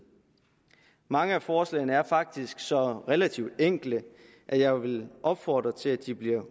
mange af forslagene er faktisk så relativt enkle at jeg vil opfordre til at de bliver